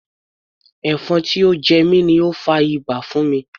Ẹ̀fọn tí ó jẹ mi ni ó fa ibà fún mi.